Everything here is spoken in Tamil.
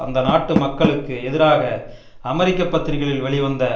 அந்நாட்டு மக்களுக்கு எதிராக அமெரிக்க பத்திரிகைகளில் வெளிவந்த